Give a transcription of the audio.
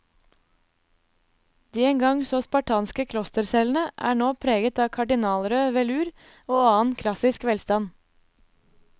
De en gang så spartanske klostercellene er nå preget av kardinalrød velur og annen klassisk velstand.